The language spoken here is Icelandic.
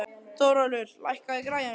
Þórólfur, lækkaðu í græjunum.